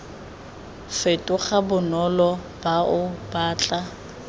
fetoga bonolo bao ba tla